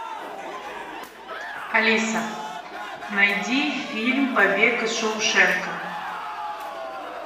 алиса найди фильм побег из шоушенка